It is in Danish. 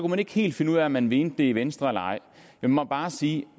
man ikke helt finde ud af om man mente det i venstre eller ej jeg må bare sige at